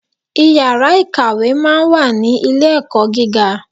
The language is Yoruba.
Iyàrá ìkàwé máa n wà ní Ilé ẹ̀kọ́ gíga